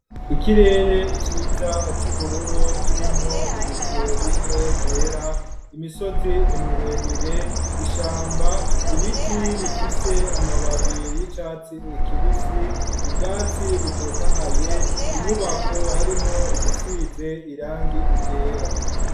Ikirere iciza c'uburoro kirimwo ibicobike vyera imisozi emiremire ishamba ibiti bifise amababe y'icatsi ekibisi ubwatsi butotahaye inyubako harimwo igisize irange igera.